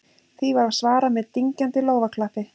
Því var svarað með dynjandi lófaklappi